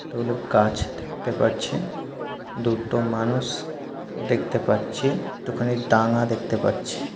কতগুলি গাছ থাকতে পারছি। দুটো মানুষ দেখতে পাচ্ছি। একটু খানি ডাঙ্গা দেখতে পাচ্ছি।